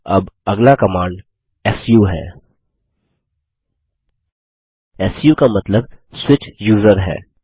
अब अगला command su है सू का मतलब स्विच यूजर है